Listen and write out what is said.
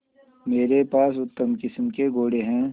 मेरे पास उत्तम किस्म के घोड़े हैं